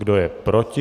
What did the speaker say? Kdo je proti?